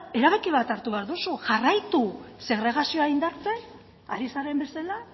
erabaki bat hartu behar duzu jarraitu segregazioa indartzen ari zaren bezala